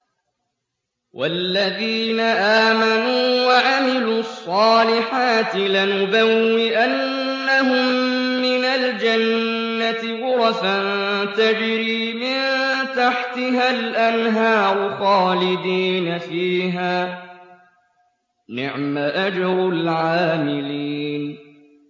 وَالَّذِينَ آمَنُوا وَعَمِلُوا الصَّالِحَاتِ لَنُبَوِّئَنَّهُم مِّنَ الْجَنَّةِ غُرَفًا تَجْرِي مِن تَحْتِهَا الْأَنْهَارُ خَالِدِينَ فِيهَا ۚ نِعْمَ أَجْرُ الْعَامِلِينَ